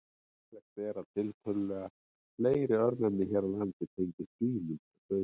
Ólíklegt er að tiltölulega fleiri örnefni hér á landi tengist svínum en sauðfé.